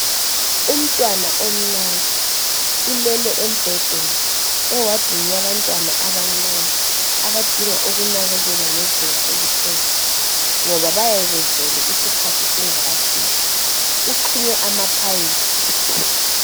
Umtwana omncane, ulele embhedeni ,ewadini yabantwana abancane abadinga ukunakekelwa ngezinga eliphezulu ngoba bayabe bezelwe isikhathi singakafiki. Uxhunywe amaphayiphi.